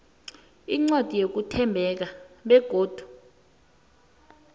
incwadi yokuthembeka begodu